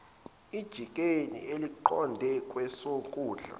ejikeni eliqonde kwesokudla